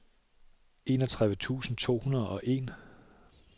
enogtredive tusind to hundrede og en